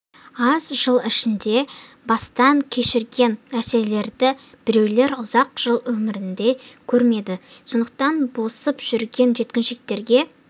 аз жыл ішінде бастан кешірген нәрселерді біреулер ұзақ жыл өмірінде көрмеді сондықтан босып жүрген жеткіншектерге